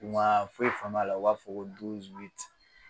U ma foyi faamuy'a la u b'a fɔ ko